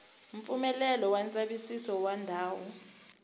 mpfumelelo wa ndzavisiso wa ndhawu